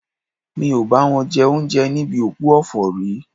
Mi ò bá wọn jẹ oúnjẹ níbi òkú ọ̀fọ̀ rí